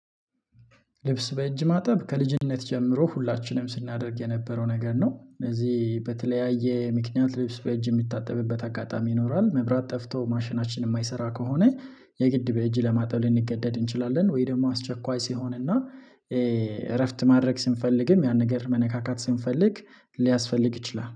ልብስ በእጅ ማጠብ ከልጅነት ጀምሮ ሁላችንም ስናደርግ የነበረው ነገር ነው። እነዚህ በተለያየ ምክንያት ልብስ በእጅ የሚታጠብበት አጋጣሚ ይኖራል። መብራት ጠፍቶ ማሽናችን የማይሰራ ከሆነ የግድ በእጅ ለማጣብ ልንገደድ እንችላለን ወይ ደግሞ አስቸኳይ ሲሆን እና እረፍት ማድረግ ስንፈልግም ያን ነገር መነካካት ስንፈልግ ሊያስፈልግ ይችላል